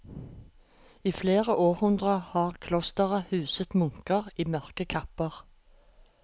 I flere århundrer har klosteret huset munker i mørke kapper.